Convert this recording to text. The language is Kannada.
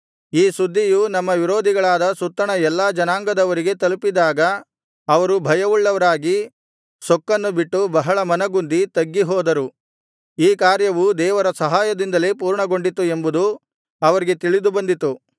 ಈ ಸುದ್ದಿಯು ನಮ್ಮ ವಿರೋಧಿಗಳಾದ ಸುತ್ತಣ ಎಲ್ಲಾ ಜನಾಂಗದವರಿಗೆ ತಲುಪಿದಾಗ ಅವರು ಭಯವುಳ್ಳವರಾಗಿ ಸೊಕ್ಕನ್ನು ಬಿಟ್ಟು ಬಹಳ ಮನಗುಂದಿ ತಗ್ಗಿ ಹೋದರು ಈ ಕಾರ್ಯವು ದೇವರ ಸಹಾಯದಿಂದಲೇ ಪೂರ್ಣಗೊಂಡಿತು ಎಂಬುದು ಅವರಿಗೆ ತಿಳಿದುಬಂದಿತು